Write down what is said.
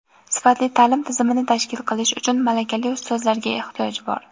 sifatli ta’lim tizimini tashkil qilish uchun malakali ustozlarga ehtiyoj bor.